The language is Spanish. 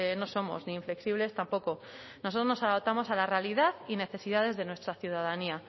no somos ni inflexibles tampoco nosotros nos adaptamos a la realidad y necesidades de nuestra ciudadanía